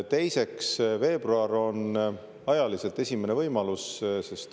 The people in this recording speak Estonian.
Teiseks, veebruar on ajaliselt esimene võimalus.